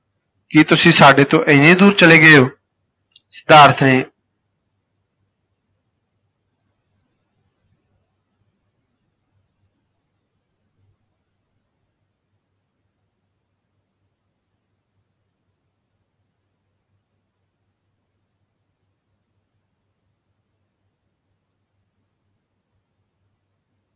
ਕੀ ਤੁਸੀਂ ਸਾਡੇ ਤੋਂ ਏਨੀ ਦੂਰ ਚਲੇ ਗਏ ਹੋ। ਸਿਧਾਰਥ ਨੇ